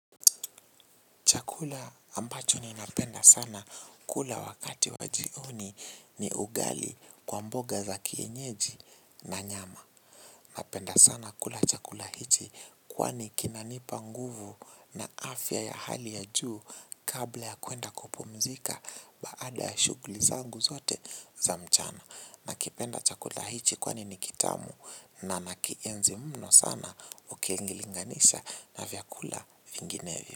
Chakula ambacho ninapenda sana kula wakati wa jioni ni ugali kwa mboga za kienyeji na nyama. Napenda sana kula chakula hiki kwani kinanipa nguvu na afya ya hali ya juu kabla ya kuenda kupumzika baada ya shughuli zangu zote za mchana. Nakipenda chakula hiki kwani ni kitamu na nakienzi mno sana ukiilinganisha na vyakula vinginevyo.